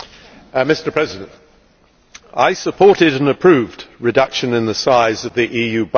Mr President, I supported and approved a reduction in the size of the EU budget.